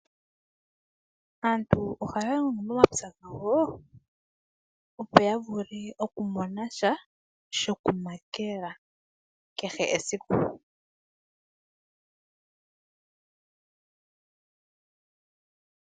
Aantu ohaya longo momapya gawo opo yavule okumona sha shokumakela kehe esiku .